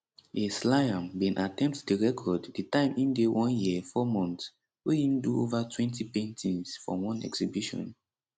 ace liam bin attempt di record di time im dey one year four months wey im do ovatwentypaintings for one exhibition